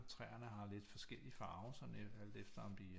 Træerne har lidt forskellig farve sådan alt efter om de